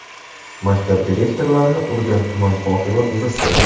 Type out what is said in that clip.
Maktab direktorlarini urgan tuman hokimi uzr so‘radi.